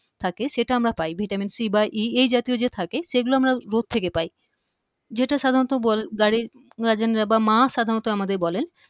থাকে সেটা আমরা পাই ভিটামিন সি বা ই এই জাতীয় যে থাকে সেগুলো আমরা রোদ থেকে পাই যেটা সাধারণত বাড়ির guardian বা মা সাধারণত আমাদের বলেন